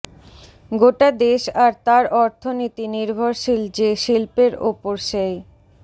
গোটা দেশ আর তার অর্থনীতি নির্ভরশীল যে শিল্পের ওপর সেই